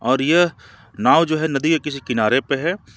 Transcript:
और यह नाव जो है नदी के किसी किनारे पे है।